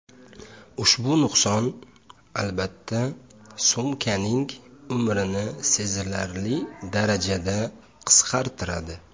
Ushbu nuqson, albatta, sumkaning umrini sezilarli darajada qisqartiradi.